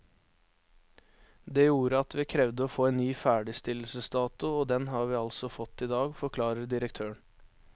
Det gjorde at vi krevde å få en ny ferdigstillelsesdato, og den har vi altså fått i dag, forklarer direktøren.